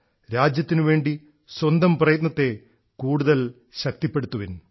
രാജ്യത്തിനുവേണ്ടി സ്വന്തം പ്രയത്നത്തെ കൂടുതൽ ശക്തിപ്പെടുത്തുവിൻ